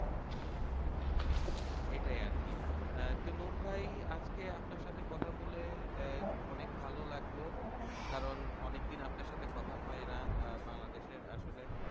এটাই আরকি আহ তে নূর ভাই আজকে আপনার সাথে কথা বলে আহ অনেক ভালো লাগলো কারন অনেকদিন আপনার সাথে কথা হয় না আহ বাংলাদেশের আসলে